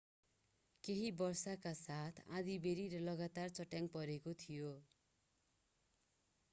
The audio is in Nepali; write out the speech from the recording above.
केहि वर्षाका साथ आँधिबेहरी र लगातार चट्याङ परेको थियो